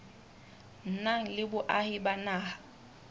nang le boahi ba naha